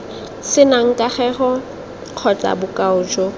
senang kagego kgotsa bokao jo